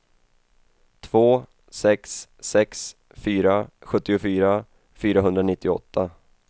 två sex sex fyra sjuttiofyra fyrahundranittioåtta